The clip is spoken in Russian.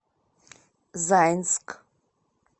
заинск